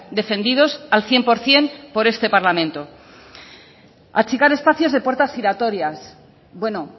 defendidos al cien por ciento por este parlamento achicar espacios de puertas giratorias bueno